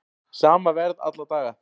Sama verð alla daga